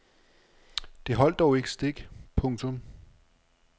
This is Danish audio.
Det holdt dog ikke stik. punktum